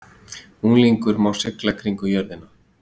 Unglingur má sigla kringum jörðina